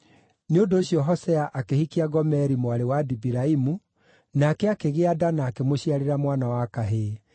Nĩ ũndũ ũcio Hosea akĩhikia Gomeri mwarĩ wa Dibilaimu, nake akĩgĩa nda na akĩmũciarĩra mwana wa kahĩĩ.